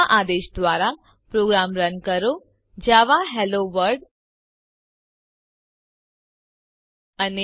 આ આદેશ દ્વારા પ્રોગ્રામ રન કરો જાવા હેલોવર્લ્ડ અને